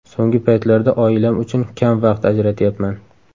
So‘nggi paytlarda oilam uchun kam vaqt ajratyapman.